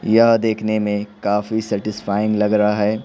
यह देखने में काफी सैटिस्फाइंग लग रहा है।